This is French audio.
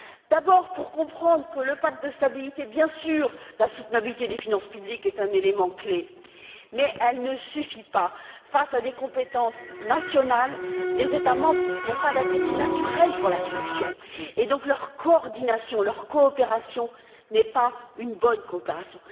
D'abord pour comprendre que, même si la soutenabilité des finances publiques est un élément clé, elle ne suffit pas. Face à des compétences nationales, les États membres n'ont pas d'appétit naturel pour la sanction et donc leur coordination, leur coopération n'est pas une bonne coopération.